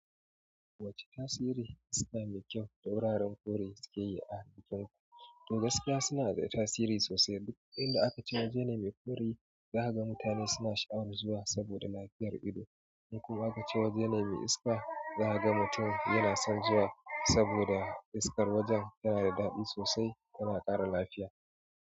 Wacce tasiri iska mai kyau da wuraren fure suke yi a halittun mu? To gaskiya suna da tasiri sosai. Duk inda aka ce waje ne mai fure, za ka ga mutane suna sha'awar zuwa saboda lafiyar ido. Kuma aka ce waje ne mai iska, za ka ga mutum yana son zuwa saboda iskar wajen tana da daɗi sosai tana ƙara lafiya.